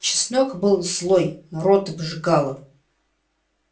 чеснок был злой рот обжигало